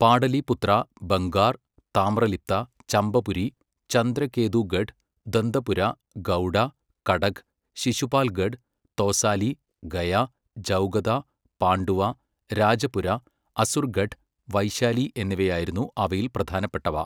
പാടലീപുത്ര, ബംഗാർ, താമ്രലിപ്ത, ചമ്പപുരി, ചന്ദ്രകേതൂഗഡ്, ദന്തപുര, ഗൗഡ, കടക്, ശിശുപാൽഗഡ്, തോസാലി, ഗയ, ജൗഗദ, പാണ്ഡുവ, രാജപുര, അസുർഗഢ്, വൈശാലി എന്നിവയായിരുന്നു അവയിൽ പ്രധാനപ്പെട്ടവ.